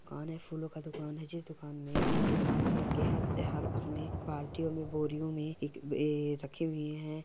ओर यह फूलो का दुकान है जिस दुकान मे ये लाल कलर के हर-हर उसमे बाल्टियों मे बोरियो मे एक यह रखे हुए है ।